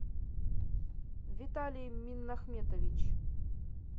виталий минахметович